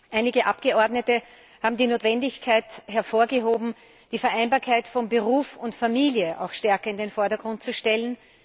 Einige Abgeordnete haben die Notwendigkeit hervorgehoben, die Vereinbarkeit von Beruf und Familie stärker in den Vordergrund zu stellen.